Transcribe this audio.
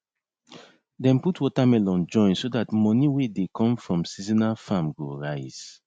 dem put watermelon join so dat moni wey dey come from seasonal farm go rise